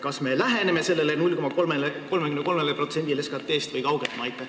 Kas me läheneme sellele 0,33%-le SKT-st või kaugeneme?